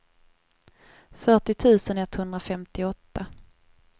fyrtio tusen etthundrafemtioåtta